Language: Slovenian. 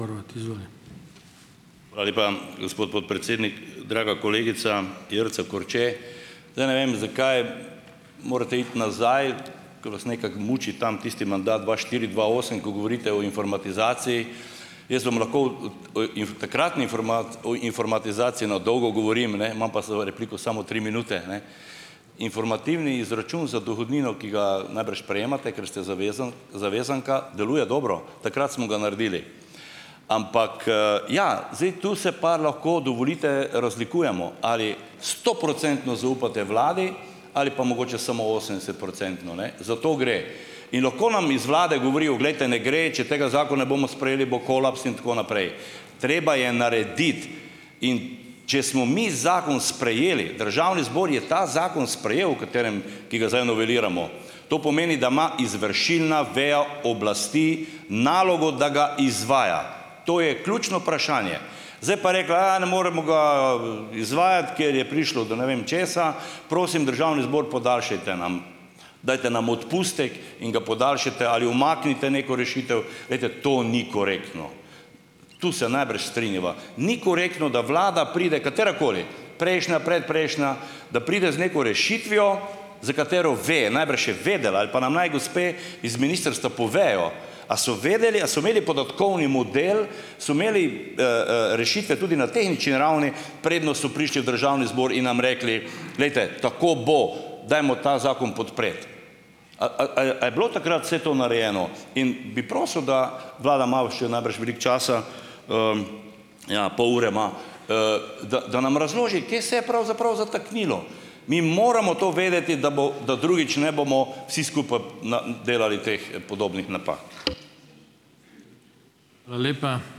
Hvala lepa, gospod podpredsednik. Draga kolegica Jerca Korče! Zdaj ne vem, zakaj morate iti nazaj, ko vas nekako muči tam, tisti mandat dva štiri, dva osem, ko govorite o informatizaciji. Jaz vam lahko od oi iž takratni o informatizaciji na dolgo govorim, ne, imam pa vse repliko samo tri minute, a ne. Informativni izračun za dohodnino, ki ga najbrž prejemate, ker ste zavezanka, deluje dobro. Takrat smo ga naredili. Ampak ja, zdaj tu se pa lahko dovolite, razlikujemo ali stoprocentno zaupate Vladi ali pa mogoče samo osemdesetprocentno, ne. Za to gre. In lahko nam iz Vlade govorijo, glejte, ne gre, če tega ne bomo sprejeli, bo kolaps in tako naprej. Treba je narediti, in če smo mi zakon sprejeli, Državni zbor je ta zakon sprejel, o katerem, ki ga zdaj unoveliramo, to pomeni, da ima izvršilna veja oblasti nalogo, da ga izvaja. To je ključno vprašanje. Zdaj pa rekla, ne moremo ga izvajati, ker je prišlo do ne vem česa, prosim Državni zbor podaljšajte nam, dajte nam odpustek in ga podaljšajte ali umaknite neko rešitev. Glejte, to ni korektno. Tu se najbrž strinjava. Ni korektno, da Vlada pride, katerakoli, prejšnja, predprejšnja, da pride z neko rešitvijo za katero ve, najbrž je vedela ali pa naj nam gospe iz ministrstva povejo, a so vedele, a so imele podatkovni model, so imeli rešitve tudi na tehnični ravni, preden so prišli v Državni zbor in nam rekli, glejte, tako bo, dajmo ta zakon podpreti. naj, a je bilo takrat vse to narejeno? In bi prosil, da Vlada ima u še najbrž veliko časa, ja, pol ure ima, da, da nam razloži, kje se je pravzaprav zataknilo. Mi moramo to vedeti, da bo, da drugič ne bomo vsi skupaj na delali teh podobnih napak.